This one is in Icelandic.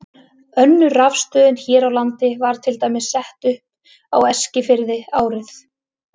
Önnur rafstöðin hér á landi var til dæmis sett upp á Eskifirði árið